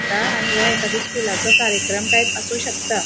ता आणि वो एखादो स्कूलाचो कार्यक्रम टाइप आसु शकता.